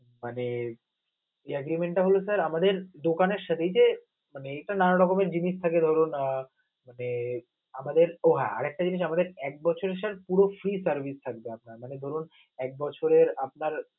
আহ মানে agrement টা হল sir আমাদের দোকানের সে দিকে মানে নানা রকমের জিনিস থাকে ধরুন আহ মানে oh হ্যা আরেকটা জিনিস আমাদের এক বছর এ sir পুরো free service থাকবে আপনার মানে ধরুন এক বছরে মানে